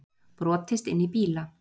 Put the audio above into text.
Brotist inn í bíla